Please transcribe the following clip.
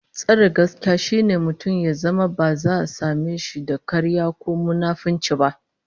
Tsare gaskiya shine mutum ya zama ba za a same da karya ko munafunci ba